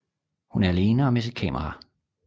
Hun er alene og med sit kamera